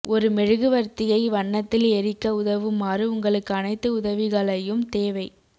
ஒரு மெழுகுவர்த்தியை வண்ணத்தில் எரிக்க உதவுமாறு உங்களுக்கு அனைத்து உதவிகளையும் தேவை